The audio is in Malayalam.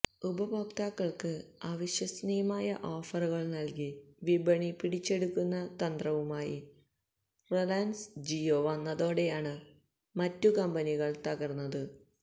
ഉപഭോക്താക്കള്ക്ക് അവിശ്വസനീയമായ ഓഫറുകള് നല്കി വിപണി പിടിച്ചെടുക്കുന്ന തന്ത്രവുമായി റിലയന്സ് ജിയോ വന്നതോടെയാണ് മറ്റു കമ്പനികള് തകര്ന്നത്